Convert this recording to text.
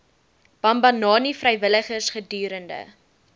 bambanani vrywilligers gedurende